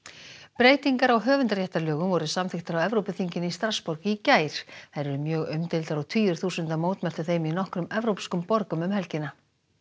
breytingar á höfundarréttarlögum voru samþykktar á Evrópuþinginu í Strassborg í gær þær eru mjög umdeildar og tugir þúsunda mótmæltu þeim í nokkrum evrópskum borgum um helgina